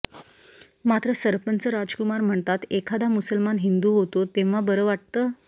मात्र सरपंच राजकुमार म्हणतात एखादा मुसलमान हिंदू होतो तेव्हा बरं वाटतं